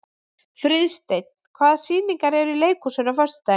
Friðsteinn, hvaða sýningar eru í leikhúsinu á föstudaginn?